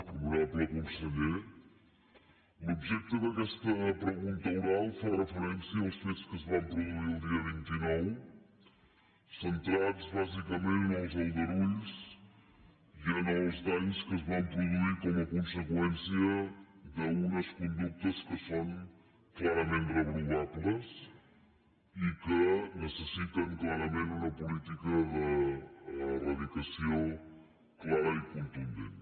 honorable conseller l’objecte d’aquesta pregunta oral fa referència als fets que es van produir el dia vint nou centrats bàsicament en els aldarulls i en els danys que es van produir com a conseqüència d’unes conductes que són clarament reprovables i que necessiten clarament una política d’eradicació clara i contundent